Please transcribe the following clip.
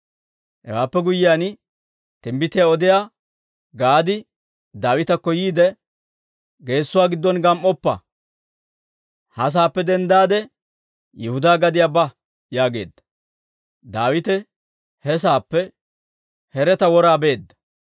Hewaappe guyyiyaan, timbbitiyaa odiyaa Gaadi Daawitakko yiide, «Geesuwaa giddon gam"oppa; ha saappe denddaade Yihudaa gadiyaa ba» yaageedda; Daawite he saappe Hereta wora beedda.